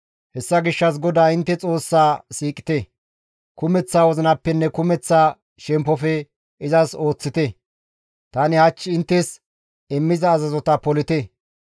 Hessa gishshas GODAA intte Xoossaa siiqite; kumeththa wozinappenne kumeththa shemppofe izas ooththite; tani hach inttes immiza azazota polite.